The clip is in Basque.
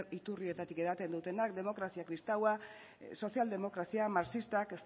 iturrietatik edaten dutenak demokrazia kristaua sozialdemokrazia marxistak